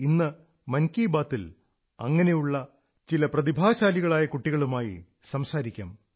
ഇന്ന് മൻകീ ബാത് ൽ അങ്ങനെയുള്ള ചില പ്രതിഭാശാലികളായ കുട്ടികളുമായി സംസാരിക്കാം